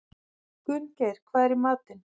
Gunngeir, hvað er í matinn?